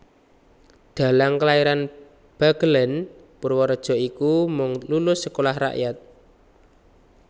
Dhalang kelairan Bagelèn Purwareja iki mung lulus Sekolah Rakyat